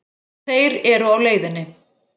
Þeir eru á leiðinni.